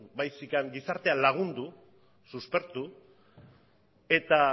baizik gizartea lagundu suspertu eta